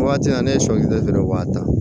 Waati na ne ye sɔ kɛ dɔrɔn u b'a ta